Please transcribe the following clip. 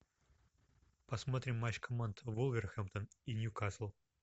посмотрим матч команд вулверхэмптон и ньюкасл